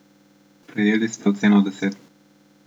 Prejeli ste oceno deset.